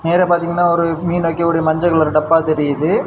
நேரா பார்த்திங்கனா ஒரு மீன் வைக்கக்கூடிய மஞ்சள் கலர் டப்பா தெரியுது.